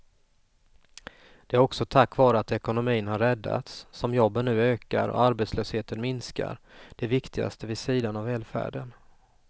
Det är också tack vare att ekonomin har räddats som jobben nu ökar och arbetslösheten minskar, det viktigaste vid sidan av välfärden.